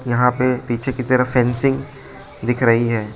यहां पे पीछे की तरफ फेसिंग दिख रही है।